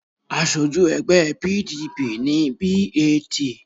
Aṣojú ẹgbẹ́ PDP ni B.A.T.